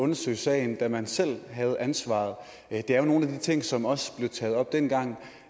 undersøge sagen da man selv havde ansvaret det er jo nogle af de ting som også blev taget op dengang